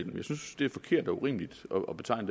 og tolv